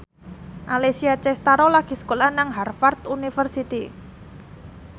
Alessia Cestaro lagi sekolah nang Harvard university